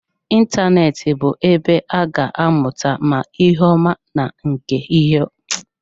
Ịntanetị bụ ebe a ga-amụta ma ihe ọma na ihe ọjọọ.